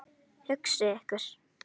Hugsið ykkur það.